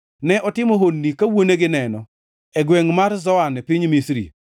Ne otimo honni ka wuonegi neno e gwengʼ mar Zoan, e piny Misri.